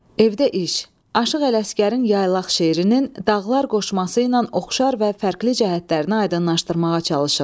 Evdə iş: Aşıq Ələsgərin yaylaq şeirinin, dağlar qoşmasıyla oxşar və fərqli cəhətlərini aydınlaşdırmağa çalışın.